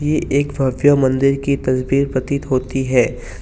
ये एक भव्य मंदिर की तस्वीर प्रतीत होती है।